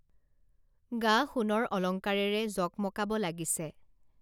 গা সোণৰ অলঙ্কাৰেৰে জকমকাব লাগিছে